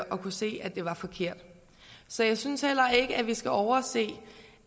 og kan se at det var forkert så jeg synes heller ikke vi skal overse